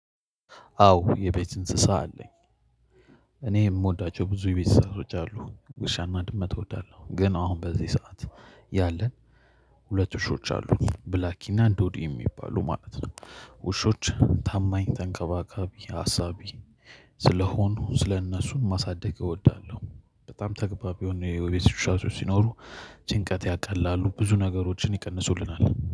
አዎ የቤት እንስሳ አለኝ። እኔ የምወዳቸው ብዙ የቤት እንስሳዎች አሉ ውሻና ድመት እወዳለሁ። ግን አሁን በዚህ ሰዓት ያለን ሁለት ውሾች አሉ። ብላኪና ዶዲ የሚባሉ ማለት ነው ውሾች ታማኝ ተንከባካቢ አሳቢ ስለሆኑ ስለእነሱን ማሳደግ እወዳለሁ። በጣም ተግባቢ የሆኑ የቤት እንስሳቶች ሲኖሩ ጭንቀት ያቀላሉ ብዙ ነገሮችን ይቀንሱልናል።